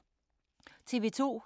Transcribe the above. TV 2